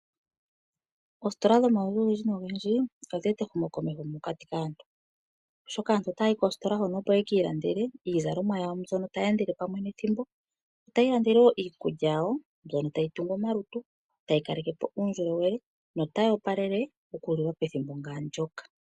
Oositola dhomaludhi ogendji odha eta ehumokomeho mokati kaantu, oshoka aantu otaya yi koositola hoka opo ye ki ilandele iizalomwa yawo mbyoka tayi endele pamwe nethimbo, tayi ilandele wo iikulya yawo mbyono tayi tungu omalutu, tayi kaleke po uundjolowele notayi opalele okuliwa pethimbo nga ndyoka.